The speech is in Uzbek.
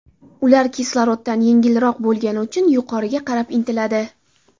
Ular kisloroddan yengilroq bo‘lgani uchun yuqoriga qarab intiladi.